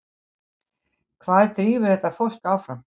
Hvað drífur þetta fólk áfram?